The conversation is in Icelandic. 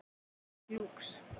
Enn í Lúx